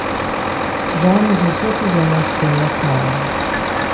Žal me že vso sezono spremlja smola.